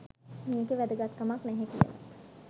මේකේ වැදගත්කමක් නැහැ කියලත්